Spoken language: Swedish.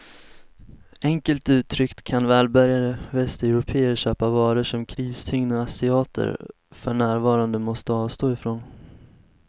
Enkelt uttryckt kan välbärgade västeuropéer köpa varor som kristyngda asiater för närvarande måste avstå ifrån.